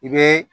I bɛ